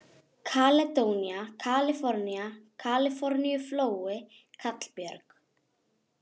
Kaledónía, Kalifornía, Kaliforníuflói, Kallbjörg